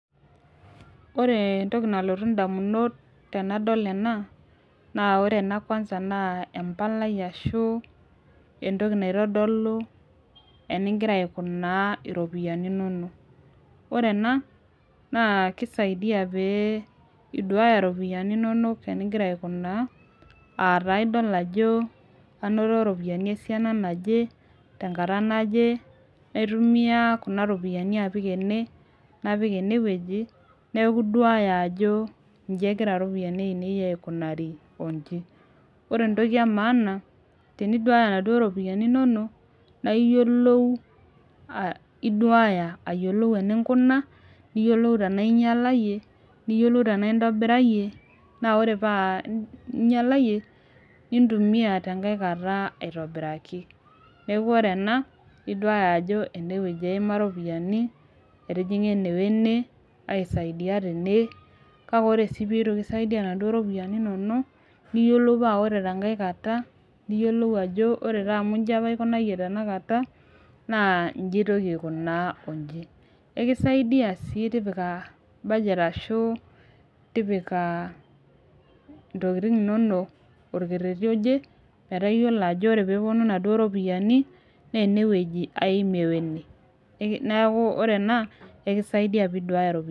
Ore entoki nalotu damunot tenadol ena naa ore ena kwanza naa empalai ashu entoki naitodolu enigira aikunaa iropiyiani inonok. ore ena naa kisidai pee iduaya iropiyiani inonok enigira aikunaa.aa taa idol ajo anoto ropiyiani esiana naje, tenkata naje. aitumia Kuna ropiyiani apik ene. napik ene wueji, neeku iduaya ajo iji egira iropiyiani aainei aikunari oji. ore entoki emaana teniduaaya inaduoo ropiyiani inono. naa iyiolou iduaya aayiolou eninkuna. niyiolou tenaa ingialayie. niyiolou tenaa intobirayie. naa ore paa ingialeyie nintumia te nkae kata aitobiraki. neeku ore enaiduaya ajo ene wueji eima iropiyiani. etijinga ene wene. aisaidia tene. kake ore sii peitu kisaidia inaduoo ropiyiani inonok, niyiolou pas ore tenkae kata. niyiolou ajo ore taa amu iji apa aikunayie tenkae kata, naa iji aitoki aikunaa oji. ekisaidia sii tipika budget ashu tipika ntokitin inonok olkereti oje. metaa iyiolo ajo ore pee epuonu inaduoo ropiyiani naa ene wueji aimie wene. neeku ore ena ekisaidia pee iduaya iropiyiani.